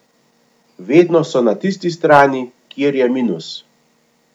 Vedno so na tisti strani, kjer je minus.